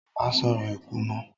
Má sòrò ikú mọ́